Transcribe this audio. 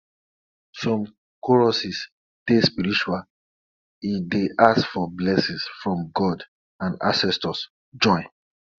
some choruses dey spiritual e dey ask for blessings from god and ancestors join